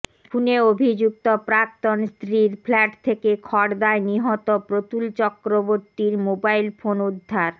খুনে অভিযুক্ত প্রাক্তন স্ত্রীর ফ্ল্যাট থেকে খড়দায় নিহত প্রতুল চক্রবর্তীর মোবাইল ফোন উদ্ধার